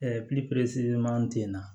ten na